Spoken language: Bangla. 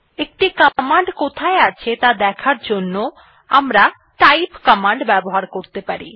একটি কমান্ড কোথায় আছে ত়া দেখার জন্য আমরা টাইপ কমান্ড ব্যবহার করতে পারি